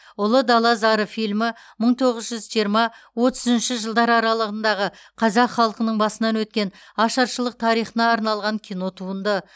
ұлы дала зары фильмі мың тоғыз жүз жиырма отыз үшінші жылдар аралығындағы қазақ халқының басынан өткен ашаршылық тарихына арналған кинотуынды